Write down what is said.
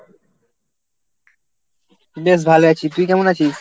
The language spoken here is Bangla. বেশ ভালো আছি, তুই কেমন আছিস?